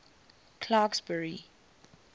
clarksburry